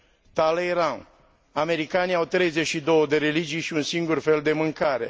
Talleyrand Americanii au treizeci și două de religii și un singur fel de mâncare.